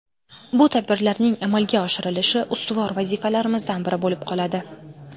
Bu tadbirlarning amalga oshirilishi ustuvor vazifalarimizdan biri bo‘lib qoladi”.